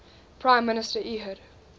prime minister ehud